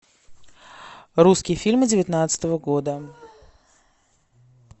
русские фильмы девятнадцатого года